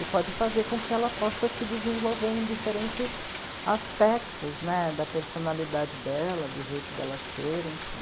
E pode fazer com que ela possa se desenvolver em diferentes aspectos, né, da personalidade dela, do jeito dela ser, enfim.